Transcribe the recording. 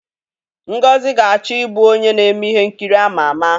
Ngozi ga-achọ ịbụ onye na-eme ihe nkiri ama ama.